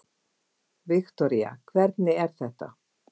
Viktoría: Hvernig er þetta?